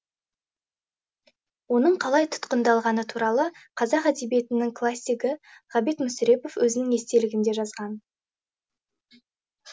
оның қалай тұтқындалғаны туралы қазақ әдебиетінің классигі ғабит мүсірепов өзінің естелігінде жазған